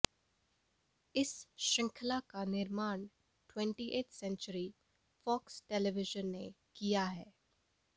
इस श्रृंखला का निर्माण ट्वेंटिएथ सेंचुरी फ़ॉक्स टेलीविजन ने किया है